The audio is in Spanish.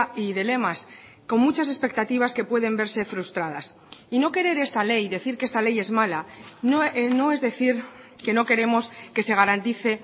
y de lemas con muchas expectativas que pueden verse frustradas y no querer esta ley decir que esta ley es mala no es decir que no queremos que se garantice